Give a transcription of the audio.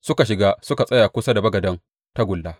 Suka shiga suka tsaya kusa da bagaden tagulla.